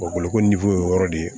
O bolokoli o yɔrɔ de ye